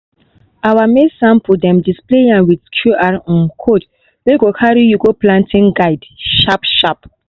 our maize sample dem display am with qr um code wey go carry you go planting guide sharp-sharp.